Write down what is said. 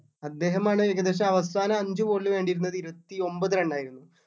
അദ്ദേഹം ആണ് ഏകദേശം അവസാന അഞ്ച് ball നു വേണ്ടിയിരുന്നത് ഇരുപത്തിഒൻപത് run ആയിരുന്നു